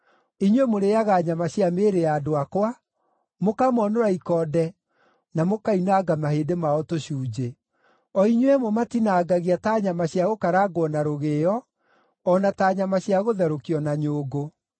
Inyuĩ mũrĩĩaga nyama cia mĩĩrĩ ya andũ akwa, mũkamonũra ikonde na mũkoinanga mahĩndĩ mao tũcunjĩ; O inyuĩ mũmatinangagia ta nyama cia gũkarangwo na rũgĩo, o na ta nyama cia gũtherũkio na nyũngũ.”